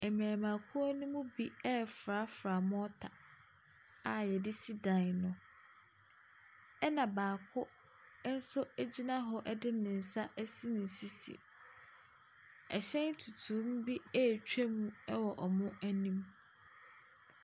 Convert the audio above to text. Mmarima kuo no mu bi refrafra morter a wɔde si dan no, ɛna baako no gyina hɔ de ne nsa asi ne sisi. Ɛhyɛn tuntum bi retwam wɔ wɔn anim.